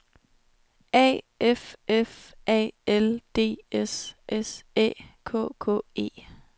A F F A L D S S Æ K K E